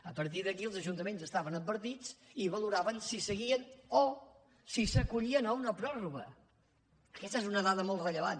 a partir d’aquí els ajuntaments estaven advertits i valoraven si seguien o si s’acollien a una pròrroga aquesta és una dada molt rellevant